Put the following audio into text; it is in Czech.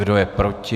Kdo je proti?